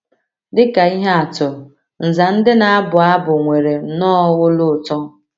Dị ka ihe atụ, nza ndị na - abụ abụ nwere nnọọ olu ụtọ.